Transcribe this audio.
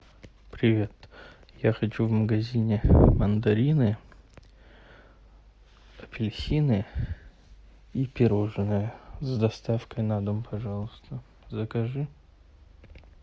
привет я хочу в магазине мандарины апельсины и пирожные с доставкой на дом пожалуйста закажи